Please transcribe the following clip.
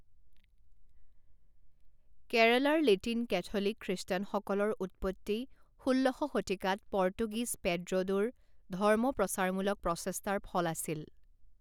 কেৰালাৰ Latin Catholic খ্ৰীষ্টানসকলৰ উৎপত্তি ষোল্ল শ শতিকাত পৰ্তুগীজ পেড্ৰ'ডোৰ ধৰ্মপ্ৰচাৰমূলক প্ৰচেষ্টাৰ ফল আছিল।